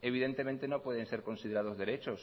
evidentemente no pueden ser considerados derechos